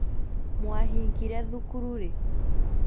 Mwahingire thukuru rĩ?